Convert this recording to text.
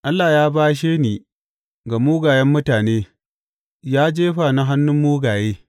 Allah ya bashe ni ga mugayen mutane, ya jefa ni hannun mugaye.